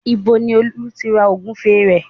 Níbo ni Olú ti ra Ògúfe rẹ̀?